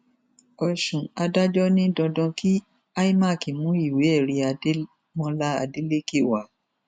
ọṣùn adájọ ní dandan kí imac mú ìwéẹrí adémọlá adélèké wá